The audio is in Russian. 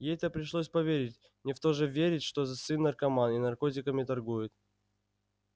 ей-то пришлось поверить не в то же верить что сын наркоман и наркотиками торгует